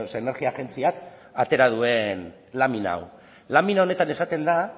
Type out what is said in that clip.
energia agentziak atera duen lamina hau lamina honetan esaten da